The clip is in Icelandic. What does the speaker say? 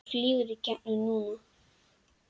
Þú flýgur í gegn núna!